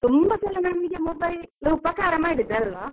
ತುಂಬಾ ಸಲ mobile ನಮ್ಗೆ ಉಪಕಾರ ಮಾಡಿದ್ದೆ ಅಲ್ವ.